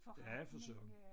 Ja for søren